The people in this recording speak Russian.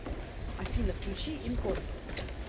афина включи ин контрол